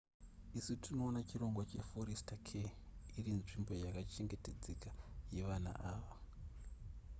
isu tinoona chirongwa che forester care irinzvimbo yakachengetedzeka yevana ava